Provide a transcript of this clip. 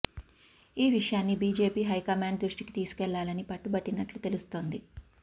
ఈ విషయాన్ని BJP high command దృష్టికి తీసుకెళ్లాలని పట్టుబట్టినట్లు తెలుస్తోంది